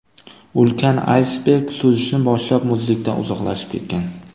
Ulkan aysberg suzishni boshlab, muzlikdan uzoqlashib ketgan.